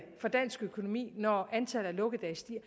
for dansk økonomi når antallet af lukkedage stiger